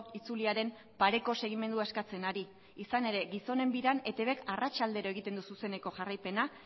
itzuliaren pareko segimendua eskatzen ari izan ere gizonen biran etbk arratsaldero egiten zu zuzeneko jarraipena